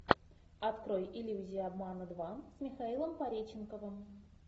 открой иллюзия обмана два с михаилом пореченковым